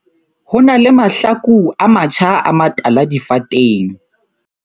Ho na le mahlaku a matjha a matala difateng.